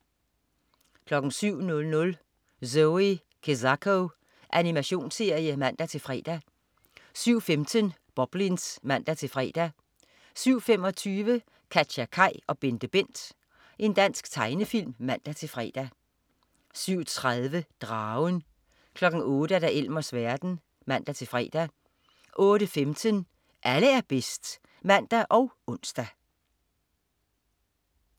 07.00 Zoe Kezako. Animationsserie (man-fre) 07.15 Boblins (man-fre) 07.25 KatjaKaj og BenteBent. Dansk tegnefilm (man-fre) 07.30 Dragen 08.00 Elmers verden (man-fre) 08.15 Alle er bedst (man og ons)